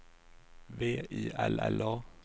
V I L L A